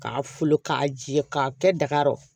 K'a fo k'a jɛ k'a kɛ daga kɔrɔ